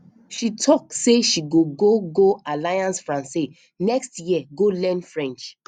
she talk sey she go go go alliance francaise next year go learn french